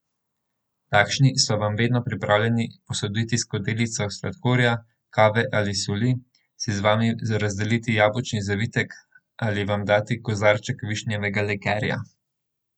Takšni so vam vedno pripravljeni posoditi skodelico sladkorja, kave ali soli, si z vami razdeliti jabolčni zavitek ali vam dati kozarček višnjevega likerja.